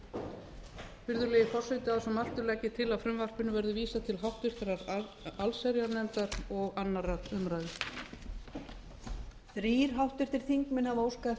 virðulegi forseti að svo mæltu legg ég til að frumvarpinu verði vísað til háttvirtrar allsherjarnefndar og annarrar umræðu